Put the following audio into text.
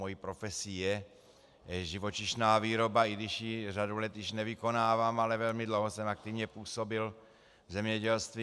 Mou profesí je živočišná výroba, i když ji řadu let již nevykonávám, ale velmi dlouho jsem aktivně působil v zemědělství.